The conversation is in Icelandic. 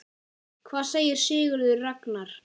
Hvað segir Sigurður Ragnar?